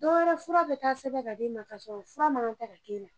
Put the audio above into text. Don wɛrɛ fura be taa sɛbɛn ka d'i ma ka sɔrɔ fura ma kan tɛ ka di ma.